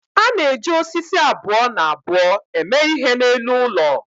a na-eji osisi abụọ na abụọ eme ihe n'elu ụlọ